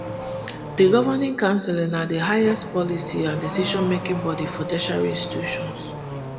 di governing council na di highest policy and decision making body for tertiary institutions